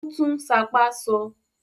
Ó tún "sápá" sọ?